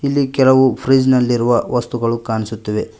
ಇಲ್ಲಿ ಕೆಲವು ಫ್ರಿಡ್ಜ್ ನಲ್ಲಿರುವ ವಸ್ತುಗಳು ಕಾಣಿಸುತ್ತಿವೆ.